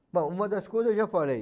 Bom, uma das coisas eu já falei.